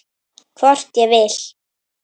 Hvort ég vil!